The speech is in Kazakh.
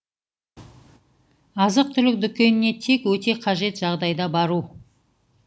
азық түлік дүкеніне тек өте қажет жағдайда бару